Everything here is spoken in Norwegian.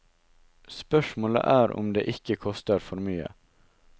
Spørsmålet er om det ikke koster for mye.